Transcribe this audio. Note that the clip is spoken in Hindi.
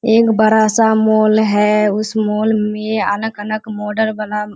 एक बड़ा सा मॉल है उस मॉल मे अलग-अलग मॉडल वाला --